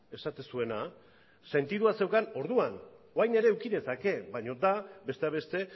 esaten zuena sentidua zeukan orduan orain ere eduki dezake baino da besteak beste